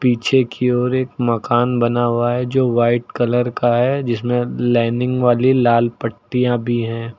पीछे की ओर एक मकान बना हुआ है जो वाइट कलर का है जिसमें लाइनिंग वाली लाल पट्टियां भी हैं।